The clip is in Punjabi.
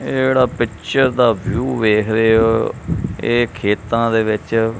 ਇਹ ਜਿਹੜਾ ਪਿਚਰ ਦਾ ਵਿਊ ਵੇਖ ਰਹੇ ਹੋ ਇਹ ਖੇਤਾਂ ਦੇ ਵਿੱਚ--